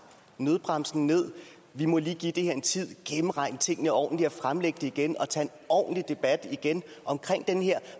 nødbremsen ned vi må lige give det her en tid gennemregne tingene ordentligt og fremlægge det igen og tage en ordentlig debat igen om den her